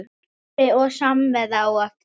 Kaffi og samvera á eftir.